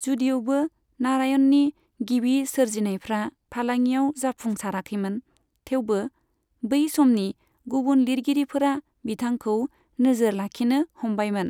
जदिउबो नारायणनि गिबि सोरजिनायफ्रा फालाङियाव जाफुंसाराखैमोन, थेवबो बै समनि गुबुन लिरगिरिफोरा बिथांखौ नोजोर लाखिनो हमबायमोन।